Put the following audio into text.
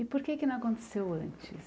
E por que é que não aconteceu antes?